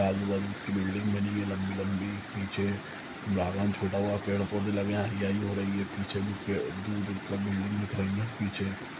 आजू बाजू इसके बिल्डिंगस बनी हुई है लंबी लंबी पीछे बागान छोटा हुआ पेड़ पौधे लगे है हरियाली हो रही है पीछे भी पेड़ दूर-दूर तक बिल्डिंग दिख रही है पीछे--